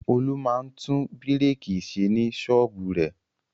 Olú máa ń tún búrékì ṣe ní ṣọ́ọ́bù rẹ̀.